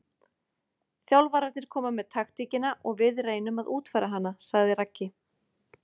Þjálfararnir koma með taktíkina og við reynum að útfæra hana, sagði Raggi.